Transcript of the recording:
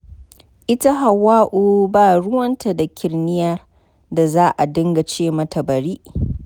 Ita Hawwa'u ba ruwanta da kirniyar da za a dinga ce mata bari.